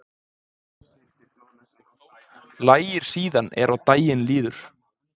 Lægir síðan er á daginn líður